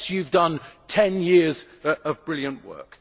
us. Yes, you have done 10 years of brilliant work.